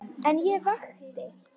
En ég vakti.